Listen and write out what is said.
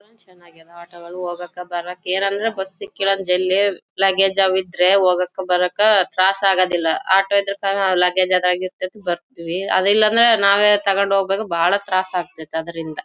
PAN ಚನ್ನಾಗಿದೆ ಆಟೋಗಳು ಹೋಗಕ್ಕೆ ಬರಕ್ಕೆ ಏನಂದ್ರೆ ಬಸ್ ಸಿಕ್ಕಿಲ್ಲಾ ಅಂದ್ರೆ ಜಲ್ಲಿ ಲಗೇಜ್ ಅವ್ ಇದ್ರೆ ಹೋಗಕ್ಕ ಬರಕ್ಕ ತ್ರಾಸ್ ಆಗದಿಲ್ಲಾಆಟೋ ಇದ್ರೆ ಕಾನೋ ಲಗೇಜ್ ಬರತ್ತಿವಿ ಅದಿಲ್ಲಾನೇ ನಾವೇ ತೊಕೊಂಡ ಹೋಗಬೇಕು ಬಹಳ ತ್ರಾಸ್ ಆಗತ್ತಿತ್ತು ಅದ್ರಿಂದ .